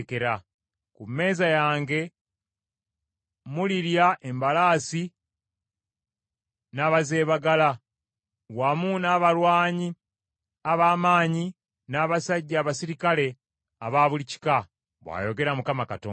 Ku mmeeza yange mulirya embalaasi n’abazeebagala, wamu n’abalwanyi ab’amaanyi n’abasajja abaserikale aba buli kika,’ bw’ayogera Mukama Katonda.